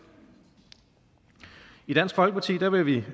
i dansk folkeparti vil vi